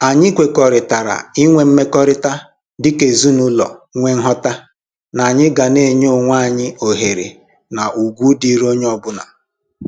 Anyị kwekọrịtara inwe mmekọrịta dịka ezinụlọ nwee nghọta n'anyị ga na-enye onwe anyị ohere na ugwu dịịrị onye ọbụla